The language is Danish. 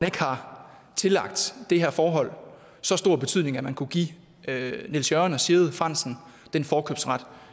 ikke har tillagt det her forhold så stor betydning at man kunne give niels jørgen og sigrid frandsen den forkøbsret